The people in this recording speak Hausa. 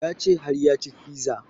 Ya ce har ya ci fiza